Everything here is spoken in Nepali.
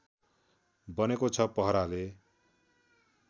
बनेको छ पहराले